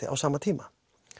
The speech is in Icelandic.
á sama tíma